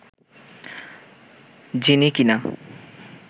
যিনি কি না